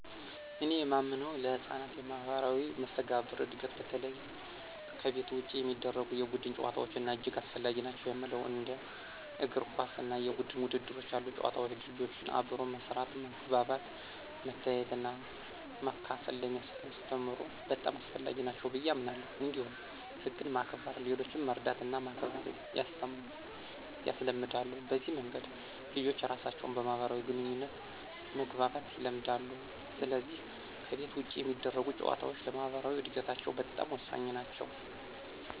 እኔ የማምነው ለሕፃናት የማኅበራዊ መስተጋብር እድገት በተለይ ከቤት ውጭ የሚደረጉ የቡድን ጨዋታዎች እጅግ አስፈላጊ ናቸው የሚለው ነው። እንደ እግር ኳስ እና የቡድን ውድድሮች ያሉ ጨዋታዎች ልጆችን አብሮ መስራት፣ መግባባት፣ መተያየትና መካፈል ስለሚያስተምሩ በጣም አስፈላጊ ናቸው ብየ አምናለሁ። እንዲሁም ህግን ማክበር፣ ሌሎችን መርዳትና ማክበር ያስለምዳሉ። በዚህ መንገድ ልጆች ራሳቸውን በማህበራዊ ግንኙነት መግባባት ይለምዳሉ፣ ስለዚህ ከቤት ውጭ የሚደረጉ ጨዋታዎች ለማኅበራዊ እድገታቸው በጣም ወሳኝ ናቸው።